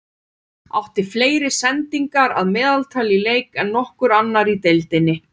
Átti fleiri sendingar að meðaltali í leik en nokkur annar í deildinni.